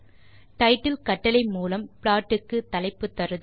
title கட்டளை மூலம் plot க்கு தலைப்பு தருதல்